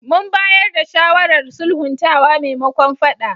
Mun bayar da shawarar sulhuntawa maimakon faɗa.